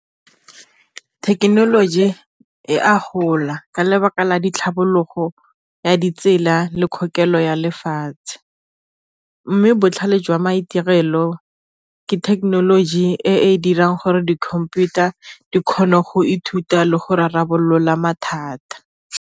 Thekenoloji e a gola ka lebaka la ditlhabologo ya ditsela le kgokelo ya lefatshe, mme botlhale jwa maitirelo ke thekenoloji e e dirang gore di-computer di kgona go ithuta le go rarabolola mathata.